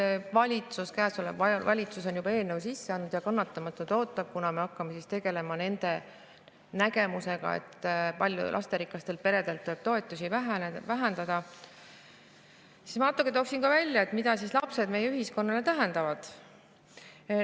Kuna valitsus, käesolev valitsus on juba eelnõu sisse andnud ja kannatamatult ootab, kunas me hakkame tegelema nende nägemusega, et lasterikaste perede toetusi vähendada, siis ma toon välja, mida lapsed meie ühiskonna jaoks tähendavad.